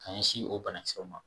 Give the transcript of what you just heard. Ka ɲɛsin o bana kisɛw ma.